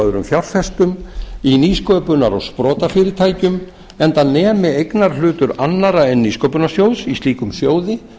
öðrum fjárfestum í nýsköpunar og sprotafyrirtækjum enda nemi eignarhlutur annarra en nýsköpunarsjóðs í slíkum sjóði